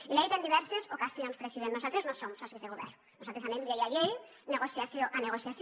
i l’hi he dit en diverses ocasions president nosaltres no som socis de govern nosaltres anem llei a llei negociació a negociació